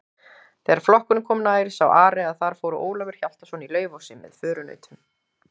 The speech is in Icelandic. Þegar flokkurinn kom nær sá Ari að þar fór Ólafur Hjaltason í Laufási með förunautum.